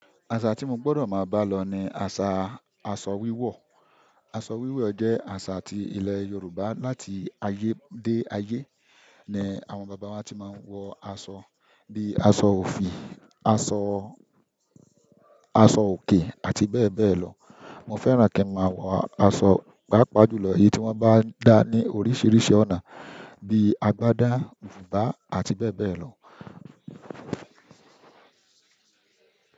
Àṣà tí mo gbọdọ máa bá lọ ni àṣà aṣọ wíwọ̀. Aṣọ wíwọ̀ jẹ́ àṣà ti ilẹ̀ Yorùbá láti ayé dé ayé. Àwọn bàbá wa ti ma n wọ aṣọ bíi aṣọ òfì, aṣọ aṣọ òkè àti bẹ́ẹ̀ bẹ́ẹ̀ lọ. Mo fẹ́ràn kí n máa wọ aṣọ pàápàá jùlọ, èyí tí wọ́n bá ń dá ní oríṣiríṣi ọ̀nà bíi agbádá, bùbá àti bẹ́ẹ̀ bẹ́ẹ̀ lọ.